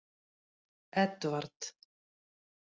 Edvard